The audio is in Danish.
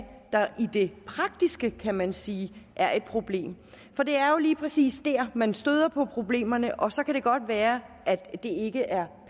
der i det praktiske kan man sige er et problem for det er jo lige præcis der man støder på problemerne og så kan det godt være at det ikke er